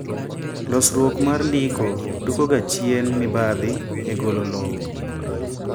losruok mar ndiko duoko ga chien mibadhi e golo lowo